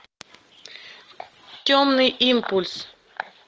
темный импульс